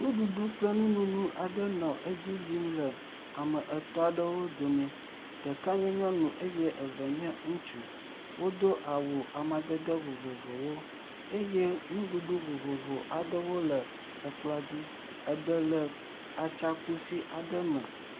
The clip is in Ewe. Nuɖuɖu kple nunono aɖe nɔ edzi yim le ame etɔ̃ aɖewo dome, ɖeka nye nyɔnu eye eve nye ŋutsu eye wodo awu amadede vovovowo eye nuɖuɖu vovov aɖewo le ekplɔa dzi eɖe le atsi kusi aɖe me.